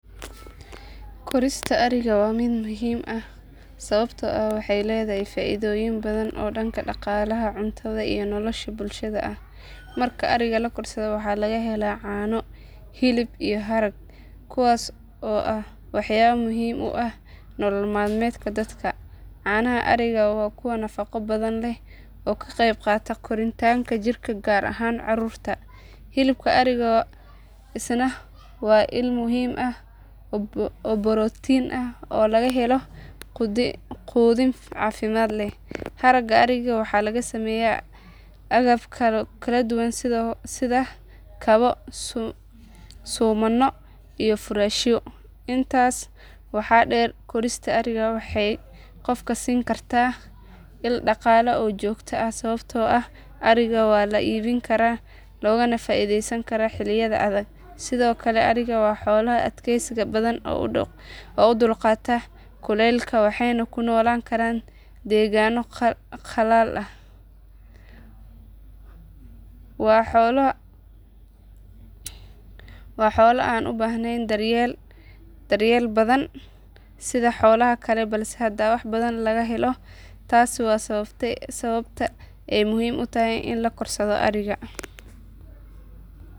Korista ariga waa mid muhiim ah sababtoo ah waxay leedahay faa iidooyin badan oo dhanka dhaqaalaha, cuntada, iyo nolosha bulshada ah. Marka ariga la korsado waxaa laga helaa caano, hilib iyo harag kuwaas oo ah waxyaabo muhiim u ah nolol maalmeedka dadka. Caanaha ariga waa kuwa nafaqo badan leh oo ka qayb qaata koritaanka jirka gaar ahaan carruurta. Hilibka ariga isna waa il muhiim ah oo borotiin ah oo laga helo quudin caafimaad leh. Haragga ariga waxaa laga sameeyaa agab kala duwan sida kabo, suumanno, iyo furaashyo. Intaas waxaa dheer korista ariga waxay qofka siin kartaa il dhaqaale oo joogto ah sababtoo ah ariga waa la iibin karaa loogana faa iidaysan karaa xilliyada adag. Sidoo kale ariga waa xoolo adkaysi badan oo u dulqaata kulaylka waxayna ku noolan karaan deegaano qallalan. Waa xoolo aan u baahnayn daryeel badan sida xoolaha kale balse haddana wax badan laga helo. Taasi waa sababta ay muhiim u tahay in la korsado ariga.